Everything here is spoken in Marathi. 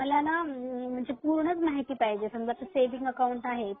मला पूर्णच माहिती पाहिजे म्हणजे सेविंग अकाऊंट आहे